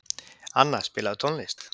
Anna, spilaðu tónlist.